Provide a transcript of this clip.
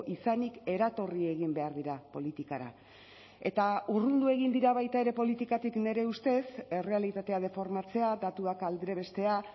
izanik eratorri egin behar dira politikara eta urrundu egin dira baita ere politikatik nire ustez errealitatea deformatzea datuak aldrebestea